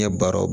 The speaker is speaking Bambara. Ɲɛ baaraw